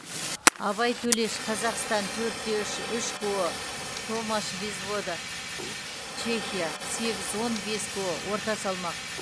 абай төлеш қазақстан төрт те үш үш ко томаш безвода чехия сегіз он бес ко орта салмақ